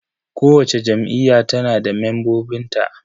Kowacce Jam'iyya tana da membobin ta.